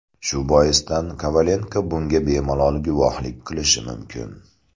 Shu boisdan Kovalenko bunga bemalol guvohlik qilishi mumkin.